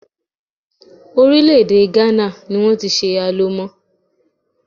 Orílè-èdè Ghana ní wọ́n ti ṣe Alomo.